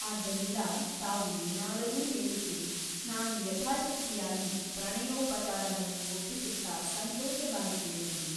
ಆದ್ದರಿಂದ ತಾವು ಏನಾದರೂ ಹೇಳುತ್ತಿರಿ ನಾನೂ ಯಥಾಶಕ್ತಿಯಾಗಿ ಪ್ರಣಯೋಪಚಾರವನ್ನು ಒಪ್ಪಿಸುತ್ತ ಸಂತೋಷವಾಗಿ ಕೇಳುವೆನು.